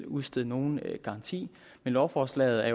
udstede nogen garanti men lovforslaget